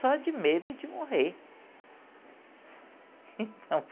Só de medo de morrer.